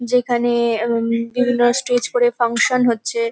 যেখানে- এ অম বিভিন্ন স্টেজ করে ফাংশন হচ্ছে।